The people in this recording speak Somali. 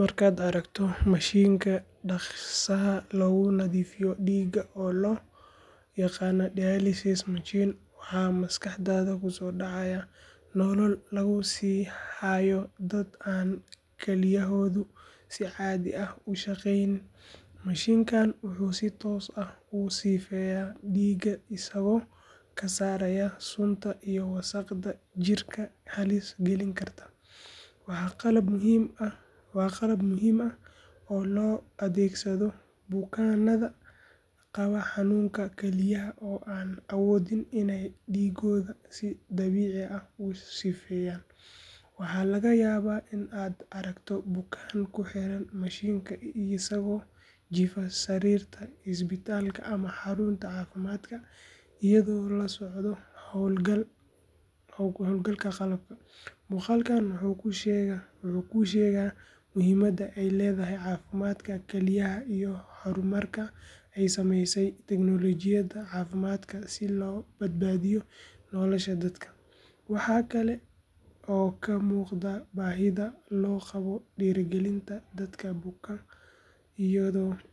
Marka aad aragto mashiinka dhakhsaha loogu nadiifiyo dhiigga oo loo yaqaan dialysis machine, waxa maskaxdaada ku soo dhacaya nolol lagu sii hayo dad aan kelyahoodu si caadi ah u shaqeyn. Mashiinkan wuxuu si toos ah u sifeeyaa dhiigga isagoo ka saaraya sunta iyo wasakhda jidhka halis gelin karta. Waa qalab muhiim ah oo loo adeegsado bukaanada qaba xanuunka kalyaha oo aan awoodin inay dhiiggooda si dabiici ah u sifeeyaan. Waxaa laga yaabaa in aad aragto bukaan ku xiran mashiinka isagoo jiifa sariirta isbitaalka ama xarunta caafimaadka, iyadoo la socdo hawlgalka qalabka. Muuqaalkan wuxuu kuu sheegaa muhiimadda ay leedahay caafimaadka kalyaha iyo horumarka ay samaysay teknoolojiyadda caafimaadku si loo badbaadiyo nolosha dadka. Waxa kale oo ka muuqda baahida loo qabo dhiirigelinta dadka buka